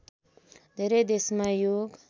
धेरै देशमा योग